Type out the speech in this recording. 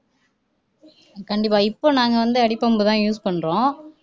கண்டிப்பா இப்ப நாங்க வந்து அடிபம்பு தான் use பண்றோம்